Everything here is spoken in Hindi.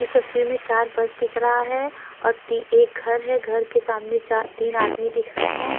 ये तशवीर में चार बस दिख रहा है और ती एक घर है एक घर के सामने चा तीन आदमी दिख रहे हैं।